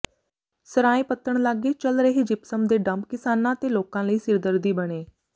ਸਰਾਂਏ ਪੱਤਣ ਲਾਗੇ ਚੱਲ ਰਹੇ ਜਿਪਸਮ ਦੇ ਡੰਪ ਕਿਸਾਨਾਂ ਤੇ ਲੋਕਾਂ ਲਈ ਸਿਰਦਰਦੀ ਬਣੇ